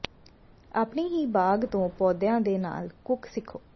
ਆਪਣੀ ਹੀ ਬਾਗ ਤੋਂ ਪੌਦਿਆਂ ਦੇ ਨਾਲ ਕੁੱਕ ਸਿੱਖੋ